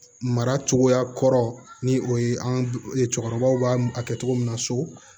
Mara cogoya kɔrɔ ni o ye an ka cɛkɔrɔbaw b'a a kɛ cogo min na so